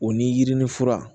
O ni yirinin fura